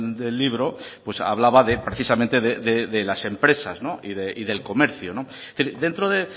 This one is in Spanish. del libro pues hablaba precisamente de las empresas y del comercio dentro de